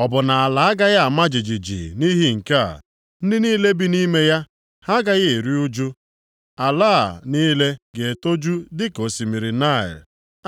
Ọ bụ na ala agaghị ama jijiji nʼihi nke a, ndị niile bi nʼime ya ha agaghị eru ụjụ? Ala a niile ga-etoju dịka osimiri Naịl,